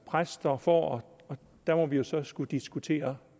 præster får der må vi så skulle diskutere